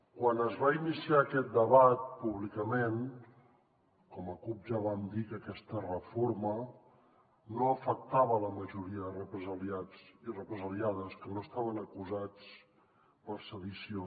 quan es va iniciar aquest debat públicament com a cup ja vam dir que aquesta reforma no afectava la majoria de represaliats i represaliades que no estaven acusats per sedició